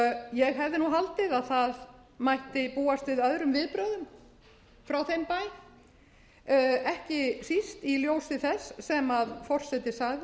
ég harma þau ég hefði haldið að búast mætti við öðrum viðbrögðum frá þeim bæ ekki mest í ljósi þess sem forseti sagði